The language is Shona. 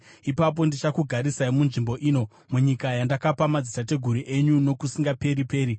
ipapo ndichakugarisai munzvimbo ino, munyika yandakapa madzitateguru enyu nokusingaperi-peri.